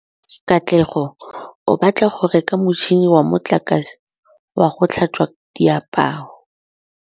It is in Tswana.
Katlego o batla go reka motšhine wa motlakase wa go tlhatswa diaparo.